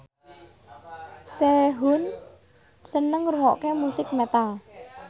Sehun seneng ngrungokne musik metal